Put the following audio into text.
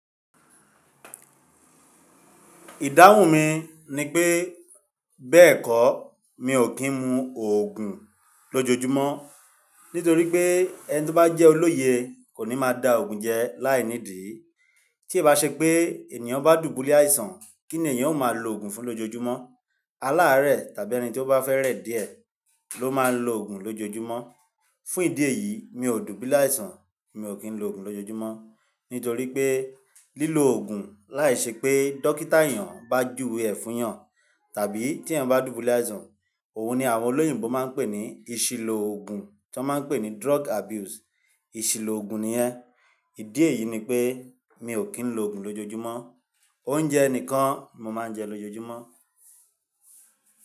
Ìdáhùn mi ni pé bẹ́ẹ̀ kọ́ mi ò kí ń mu òògùn lójoojúmọ́ nítorí pé ẹni tí ó bá jẹ́ olóye kò ní máa da òògùn jẹ láìnídìí. Tí è bá ṣe pé ènìyàn bá dùbúlẹ̀ àìsàn kí ni ènìyàn ó máa lo òògùn fún lójoojúmọ́? Aláàárẹ̀ tàbí ẹni tí ó bá fẹ́ rẹ̀ díẹ̀ ló máa ń lo òògùn lójoojúmọ́. Fún ìdí èyí mi ò dùbúlẹ̀ àìsàn, mi ò kí ń lo òògùn lójoojúmọ́ nítorí pé lílọ Òògùn láì ṣe pé dókítà ènìyàn bá júwe ẹ fun ènìyàn tàbí tí ènìyàn bá dùbúlẹ̀ àìsàn òun ni àwọn olóyìnbo máa ń pè ní ìṣìlò òògùn tí wọ́n máa ń pè ní drug abuse. Ìṣìlò òògùn niyẹn. Ìdí èyí ni pé mi ò kí ń lo òògùn lójoojúmọ́. Oúnjẹ nìkan mo máa ń jẹ lójoojúmọ́.